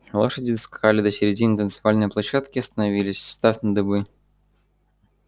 лошади доскакали до середины танцевальной площадки и остановились встав на дыбы